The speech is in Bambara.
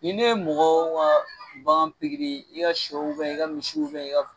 Ni ne ye mɔgɔw ka bagan pikiri i ka sɛw i ka misiw i ka